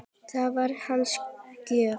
Það var hans gjöf.